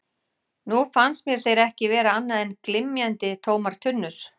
Nú fannst mér þeir ekki vera annað en glymjandi, tómar tunnur.